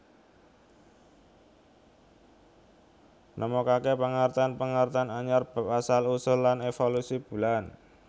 Nemokaké pangertèn pangertèn anyar bab asal usul lan évolusi bulan